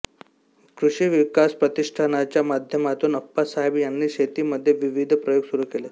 कृषीविकास प्रतिष्ठानाच्या माध्यमातून अप्पासाहेब यांनी शेतीमध्ये विविध प्रयोग सुरू केले